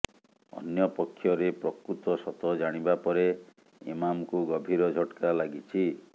ଅନ୍ୟ ପକ୍ଷରେ ପ୍ରକୃତ ସତ ଜାଣିବା ପରେ ଇମାମଙ୍କୁ ଗଭୀର ଝଟକା ଲାଗିଛି